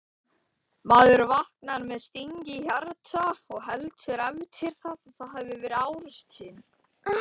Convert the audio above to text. Maður vaknar með sting í hjarta og heldur eftir á að það hafi verið ástin